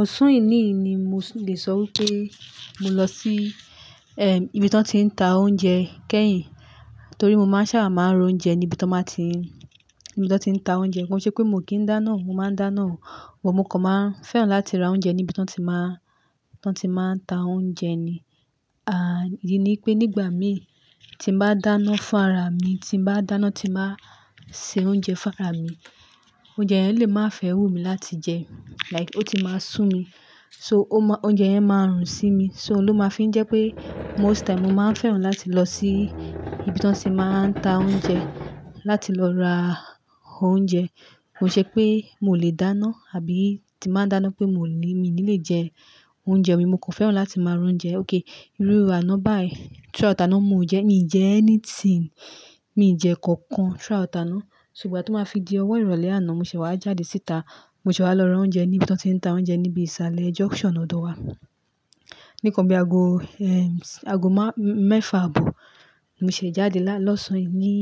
Ọ̀sán èní yìí ni mo lè sọ wípé mo lọ sí, ibi tí wọ́n ti ń ta oúnjẹ kẹ́yìn. Torí mo máa ń sábà máa ń roúnjẹ níbi tí wọ́n máa ti ń, níbi tí wọ́n ti ń ta oúnjẹ. Kò ń ṣe pé mo ò kí ń dáná, mo máa ń dáná o, but mo kàn máa ń fẹ́ràn láti ra oúnjẹ níbi tọ́n ti máa ń, tọ́n ti máa ń ta oúnjẹ ni. And, ìdí ni pé nígbà míì tí n bá dáná fún ara mi, tí n bá dáná, tí n bá se oúnjẹ fún ara mi, oúnjẹ yẹn lè má fẹ́ wù mi láti jẹ. Like ó ti máa sú mi. So o máa-- oúnjẹ yẹn máa rùn sí mi. So ló máa fi ń jẹ pé most time mo máa ń fẹ́ràn láti lọ sí ibi tí wọ́n ti máa ń ta oúnjẹ, láti lọ ra oúnjẹ. Kò ń ṣe pé moò lè dáná àbí tí n bá dáná pé moò ní, miì ní lè jẹ oúnjẹ mi, mo kò fẹ́ràn láti máa r'oúnjẹ. Okay, irú àná báyìí, throughout àná mo ò jẹ, miì jẹ anything, mi ò jẹ nǹkan kan throughout àná. So ìgbà tó máa fi di ọwọ́ ìrọ̀lẹ́ àná, mo ṣẹ̀ẹ̀ wá jáde síta. Mo ṣẹ̀ẹ̀ wá lọ ra oúnjẹ ní ibi tí wọ́n ti ń ta oúnjẹ ní ibi ìsàlẹ̀ junction ọ̀dọ̀ wa. Ní nǹkan bí aago, ago má-- mẹ́fà-àbọ̀ Mo ṣẹ̀ẹ̀ jáde lá-- lọ́sàn-án yìí, ní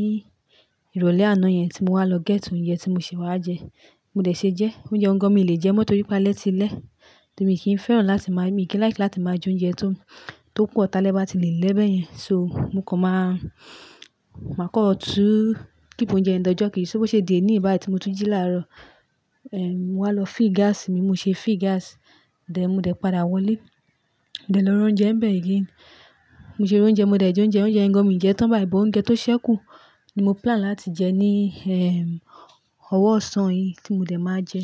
ìrọ̀lẹ́ àná yẹn tí mo wá lọ get oúnjẹ tí mo ṣẹ̀ẹ̀ wá jẹ. Mo dẹ̀ ṣe jẹẹ́. Oúnjẹ ọ̀hún gan-an miì lè jẹẹ́ mọ́ torí pé alẹ́ ti lẹ́. Torí mi kì í fẹ́ràn láti máa, mi kì í like láti máa jẹ oúnjẹ tó, tó pọ̀ tálẹ́ bá ti lè lẹ́ bẹ́yẹn. So, mo kàn máa, màá kàn tún keep oúnjẹ yẹn di ọjọ́ kejì. So, bó ṣe di ẹní yìí báyìí tí mo tún jí láàárọ̀. Mo wá lọ fill gáàsì mi, mo ṣe feel gáàsì. Then, mo dẹ̀ padà wọlé. Dẹ̀ lọ r'oúnjẹ ńbẹ̀ again. Mo ṣe r'oúnjẹ, mo dẹ̀ jẹ oúnjẹ. Oúnjẹ yẹn gan-an miì jẹẹ́ tán báyìí, but oúnjẹ tó ṣẹ́kù ni mo plan láti jẹ ní, ọwọ́ ọ̀sán yìí tí mo dẹ̀ máa jẹ.